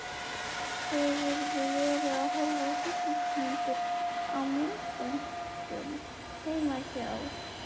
Hefurðu verið að horfa á hryllingsmyndir á myndböndum heima hjá